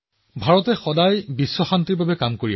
ভাৰতে সদায় বিশ্ব শান্তিৰ বাবে কাম কৰি আহিছে